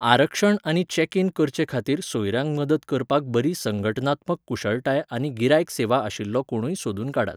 आरक्षण आनी check in करचेखातीर सोयऱ्यांक मदत करपाक बरी संघटनात्मक कुशळटाय आनी गिरायक सेवा आशिल्लो कोणूय सोदून काडात.